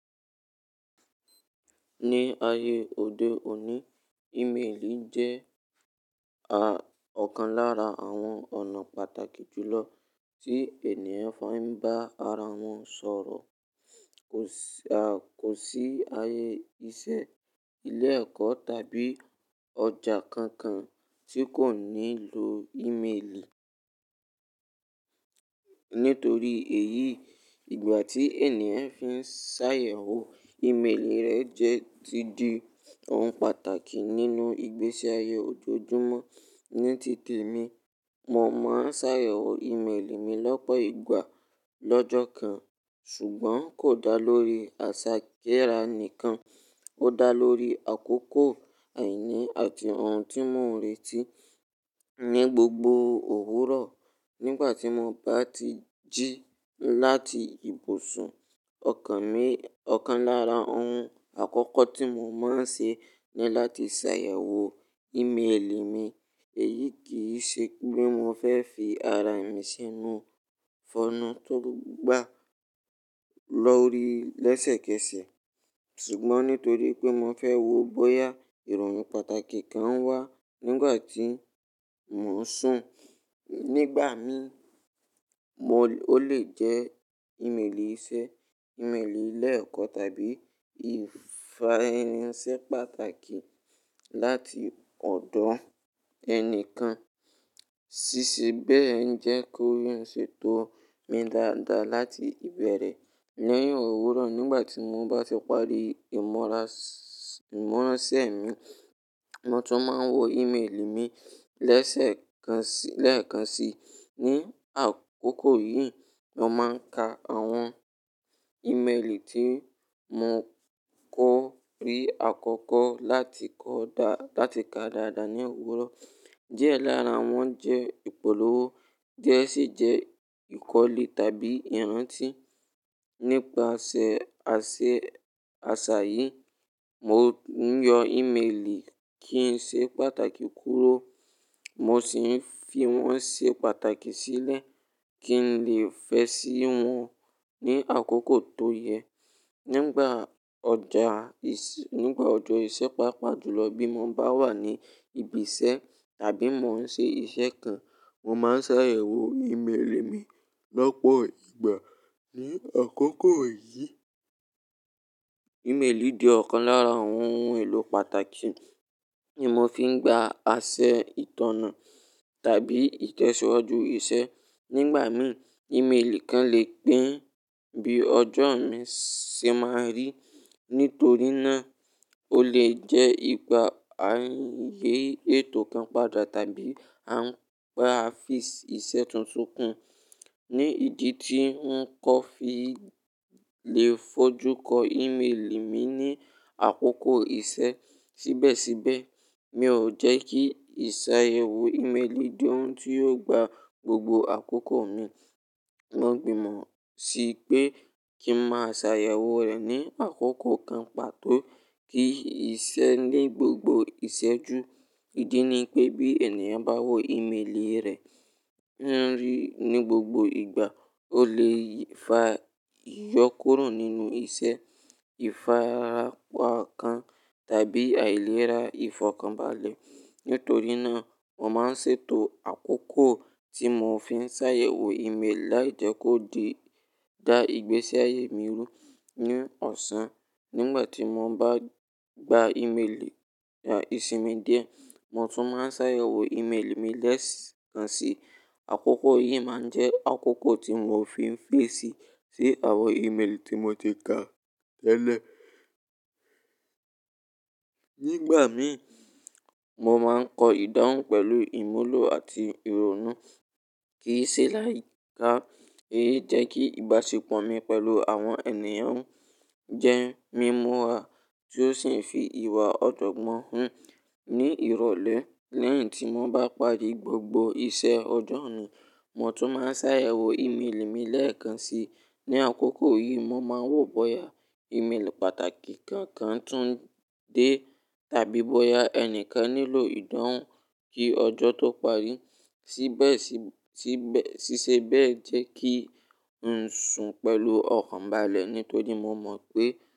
Ní ayé òde òní, ímeèlì jẹ́ a-ọ̀kan lára àwọn ọ̀nà pàtàkì jùlọ tí ènìyàn fi ń bá ara wọn sọ̀rọ̀. Kò sì a-kò sí ayé iṣẹ́, ilé ẹ̀kọ́ tàbí ọjà kankan tí kò ní lọ ímeèlì. Nítorí èyí, ìgbà tí ènìyàn fi ń ṣàyẹ̀wò ímeèlì rẹ̀ jẹ́ ti di ohun pàtàkì nínú ìgbésí ayé ojoojúmọ́. Ní tìtì mi, mo máa ń ṣàyẹ̀wò ímeèlì mi lọ́pọ̀ ìgbà lọ́jọ́ kan, ṣùgbọ́n kò dá lórí àṣà kíra nìkan. Ó dá lórí àkókò àìní àti ohun tí mo n retí ní gbogbo òwúrọ̀. Nígbà tí mo bá ti jí láti ibùsùn, ọ̀kan mi, ọ̀kan lára ohun àkọ́kọ́ tí mo máa ń ṣe ni láti ṣàyẹ̀wò ímeèlì mi. Èyí kì í ṣe pé mo fẹ́ fi ara mi sínú fọ́nà tó gbà lọ́ri lẹ́sẹ̀kẹsẹ̀, ṣùgbọ́n nítorí pé mo fẹ́ wò bóyá ìròyìn pàtàkì kan wá nígbà tí mo ń sùn. Nígbà mi, mo lè ó lè jẹ́ ímeèlì iṣẹ́, ímeèlì ilé ẹ̀kọ́ tàbí ìfáransẹ́ pàtàkì láti ọ̀dọ̀ ẹni kan. Síṣe bẹ́ẹ̀ ń jẹ́ kó yóò ṣètò mi dáadáa láti ìbẹ̀rẹ̀ ni òwúrọ̀. Nígbà tí mo bá ti parí ìmúra-ìmúrúsí mi, mo tún máa ń wo ímeèlì mi lẹ́sẹ̀kánṣí-lẹ́ẹ̀kánṣí. Ni àkókò yìí, mo máa ń ka àwọn ímeèlì tí mo kò rí àkọ́kọ́ láti kọ dá láti ka dáadáa ní òwúrọ̀. Diẹ lára wọn jẹ́ ìpolówó, díẹ̀ sì jẹ́ ìkọ́lé tàbí ìrántí. Nípasẹ̀ àsè-àṣà yìí, mo ń yọ ímeèlì kí n ṣe pàtàkì kúrò, mo sì ń fi wọ́n ṣe pàtàkì sílẹ̀ kí n lè fẹ́ sí wọn ní àkókò tó yẹ. Nígbà ọjà ìṣ-- nígbà ọjọ́ ìṣe pàápàá jùlọ bí mo bá wà ní ibiṣẹ́ tàbí mo ń ṣe iṣẹ́ kan, mo máa ń ṣàyẹ̀wò ímeèlì mi lọ́pọ̀ ìgbà. Ni àkókò yìí, ímeèlì di ọ̀kan lára àwọn ohun èlò pàtàkì tí mo fi ń gba asẹ ìtọ̀nà tàbí ìtẹ̀síwájú iṣẹ́. Nígbà mìí, ímeèlì kan lè pín bí ọjọ́ mi ṣe máa rí. Nítorí náà, ó lè jẹ́ ìgbà ayé ètò kan padà tàbí àǹfààfí iṣẹ́ tuntun kan. Ni ìdí tí n kọ́ fi lè fojú ko ímeèlì mi ní àkókò ìṣe. Síbẹ̀síbẹ̀, mi ò jẹ́ kí ìṣàyẹ̀wò ímeèlì di ohun tí yóò gba gbogbo àkókò mi. Mo gbìmọ̀ sí pé kí ń máa ṣàyẹ̀wò rẹ̀ ní àkókò kan pàtó kí iṣẹ́ ní gbogbo ìṣẹ́ ju. Ìdí ni pé bí ènìyàn bá wo ímeèlì rẹ̀ rí ní gbogbo ìgbà, ó lè fa ìyókùro nínú iṣẹ́, ìfarapa kan tàbí àìlera ìfọ̀kànbalẹ̀. Nítorí náà, mo máa ń ṣètò àkókò tí mo fi ń ṣàyẹ̀wò ímeèlì láìjẹ́ kó di dá ìgbésí ayé mi rú ni ọ̀sán. Nígbà tí mo bá gba ímeèlì ìsinmi díẹ̀, mo tún máa ń ṣàyẹ̀wò ímeèlì mi lẹ́ẹ̀kánṣí. Àkókò yìí máa ń jẹ́ àkókò tí mo fi ń fèsì sí àwọn ímeèlì tí mo ti ka tẹ́lẹ̀. Nígbà mìí, mo máa ń kọ ìdáhùn pẹ̀lú ìmúlò àti ìrònú kì í ṣe láì ká. Èyí jẹ́ kí ìbáṣepọ̀ mi pẹ̀lú àwọn ènìyàn jẹ́ mímú wà tí ó sì ń fi ìwà ọ̀jọ̀gbọ́n hàn. Ni ìrọ̀lẹ́ lẹ́yìn tí mo bá parí gbogbo iṣẹ́ ọjọ́ mi, mo tún máa ń ṣàyẹ̀wò ímeèlì mi lẹ́ẹ̀kánṣí. Ni àkókò yìí, mo máa ń wò bóyá ímeèlì pàtàkì kankan tún dé tàbí bóyá ẹni kan nílò ìdáhùn kí ọjọ́ tó parí. Síbẹ̀sí-síbẹ́-síṣe bẹ́ẹ̀ jẹ́ kí ń sùn pẹ̀lú ọ̀kàn balẹ̀ nítorí mo mọ̀ pé.